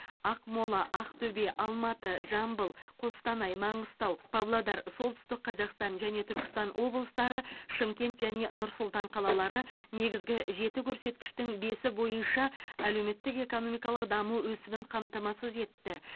ақмола ақтөбе алматы жамбыл қостанай маңғыстау павлодар солтүстік қазақстан және түркістан облыстары шымкент және нұр сұлтан қалалары негізгі жеті көрсеткіштің бесі бойынша әлеуметтік экономикалық даму өсімін қамтамасыз етті